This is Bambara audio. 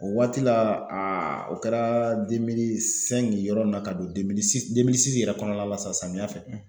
O waati la a o kɛra yɔrɔ min na ka don yɛrɛ kɔnɔna la sisan la samiya fɛ